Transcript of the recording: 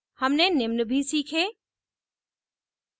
हमने निम्न भी सीखे